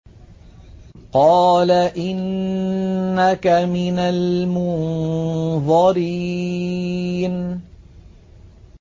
قَالَ إِنَّكَ مِنَ الْمُنظَرِينَ